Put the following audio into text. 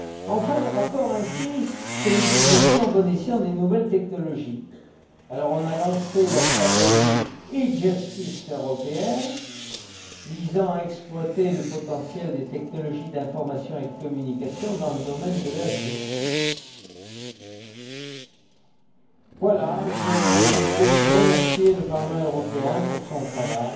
Enfin, le rapport insiste sur l'utilisation à bon escient des nouvelles technologies. On a lancé la stratégie européenne e justice destinée à exploiter le potentiel des technologies d'information et de communication dans le domaine de la justice. Voilà, je ne peux que remercier le Parlement européen pour son travail